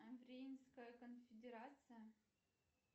конфедерация